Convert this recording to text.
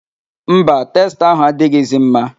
Mba, testa ahụ adịghịzi mma.